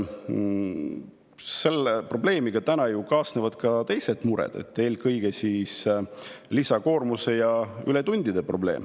Sellega kaasnevad ju ka teised mured, eelkõige lisakoormuse ja ületundide probleem.